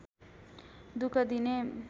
दुख दिने